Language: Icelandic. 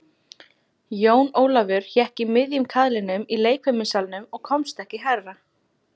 Jón Ólafur hékk í miðjum kaðlinum í leikfimissalnum og komst ekki hærra.